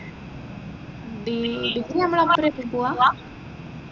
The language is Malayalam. നമ്മൾ ൽ പോവാ